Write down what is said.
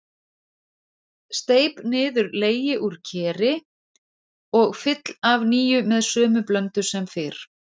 Steyp niður legi úr keri og fyll af nýju með sömu blöndu sem fyrr.